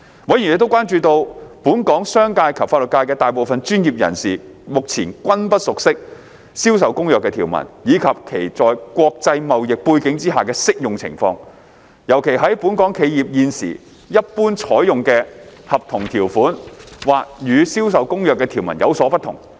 委員亦關注到，本港商界及法律界的大部分專業人士目前均不熟悉《銷售公約》的條文，以及其在國際貿易背景下的適用情況，尤其是本港企業現時一般採用的合同條款或與《銷售公約》的條文有所不同。